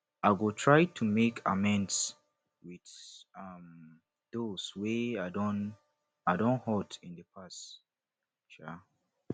i go try to make amends with um those wey i don i don hurt in the past um